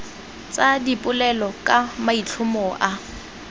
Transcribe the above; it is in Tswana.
tsa dipolelo ka maitlhomo a